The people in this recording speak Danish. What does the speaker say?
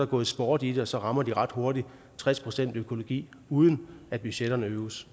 gået sport i det og så rammer de ret hurtigt tres procent økologi uden at budgetterne